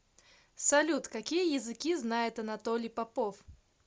салют какие языки знает анатолий попов